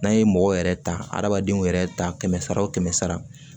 N'a ye mɔgɔw yɛrɛ ta adamadenw yɛrɛ ta kɛmɛ sara o kɛmɛ sara